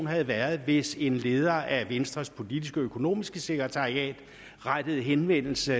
havde været hvis en leder af venstres politisk økonomiske sekretariat rettede henvendelse